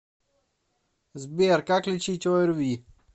сбер как лечить орви